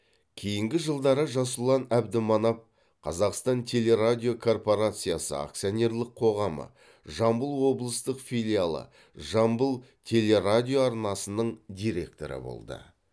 кейінгі жылдары жасұлан әбдіманап қазақтан телерадиокорпорациясы акцианерлік қоғамы жамбыл облыстық филиалы жамбыл телерадиоарнасының директоры болды